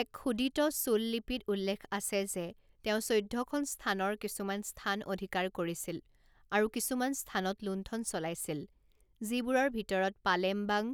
এক খোদিত চোল লিপিত উল্লেখ আছে যে তেওঁ চৈধ্যখন স্থানৰ কিছুমান স্থান অধিকাৰ কৰিছিল আৰু কিছুমান স্থানত লুণ্ঠন চলাইছিল, যিবোৰৰ ভিতৰত পালেমবাং,